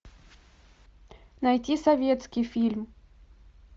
найти советский фильм